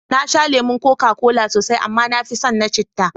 Na sha lemon koka kola sosai, amma na fi son na citta.